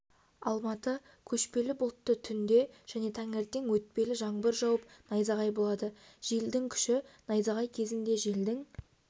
алматы көшпелі бұлтты түнде және таңертең өтпелі жаңбыр жауып найзағай болады желдің күші найзағай кезінде желдің